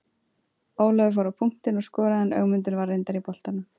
Ólafur fór á punktinn og skoraði en Ögmundur var reyndar í boltanum.